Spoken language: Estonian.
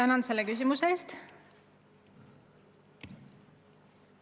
Ma tänan selle küsimuse eest!